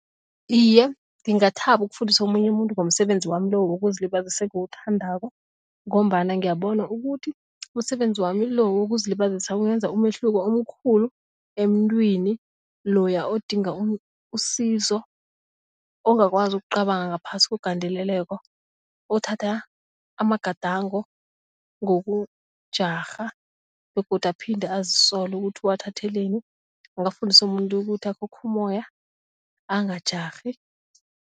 Iye, ngingathaba ukufundisa omunye umuntu ngomsebenzi wami lo wokuzilibazisa engiwuthandako ngombana ngiyabona ukuthi umsebenzi wami lo wokuzilibazisa ungenza umehluko omkhulu emntwini loya odinga usizo ongakwazi ukucabanga ngaphasi kwegandeleleko othatha amagadango ngokujarha begodu aphinde azisole ukuthi uwathatheleni, kungafundisa umuntu ukuthi akhokhe umoya angajarhi.